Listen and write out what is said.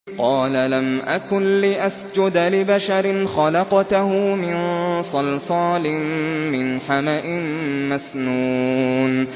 قَالَ لَمْ أَكُن لِّأَسْجُدَ لِبَشَرٍ خَلَقْتَهُ مِن صَلْصَالٍ مِّنْ حَمَإٍ مَّسْنُونٍ